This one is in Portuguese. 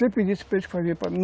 Sempre disse para eles que família é